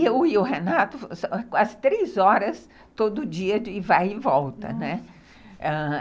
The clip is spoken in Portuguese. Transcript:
Eu e o Renato, quase três horas todo dia de vai e volta, né, ãh...